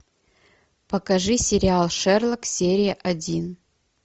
покажи сериал шерлок серия один